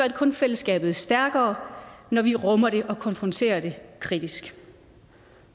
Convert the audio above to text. kun fællesskabet stærkere når vi rummer det og konfronterer det kritisk